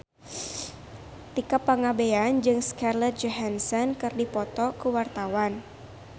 Tika Pangabean jeung Scarlett Johansson keur dipoto ku wartawan